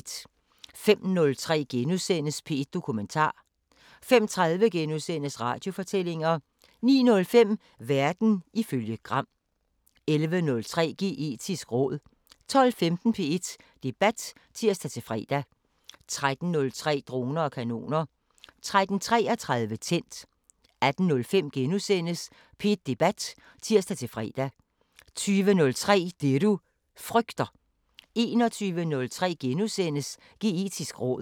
05:03: P1 Dokumentar * 05:30: Radiofortællinger * 09:05: Verden ifølge Gram 11:03: Geetisk råd 12:15: P1 Debat (tir-fre) 13:03: Droner og kanoner 13:33: Tændt 18:05: P1 Debat *(tir-fre) 20:03: Det du frygter 21:03: Geetisk råd *